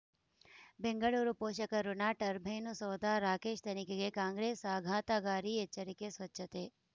ಬೆಂಗಳೂರು ಪೋಷಕಋಣ ಟರ್ಬೈನು ಸೌಧ ರಾಕೇಶ್ ತನಿಖೆಗೆ ಕಾಂಗ್ರೆಸ್ ಆಘಾತಕಾರಿ ಎಚ್ಚರಿಕೆ ಸ್ವಚ್ಛತೆ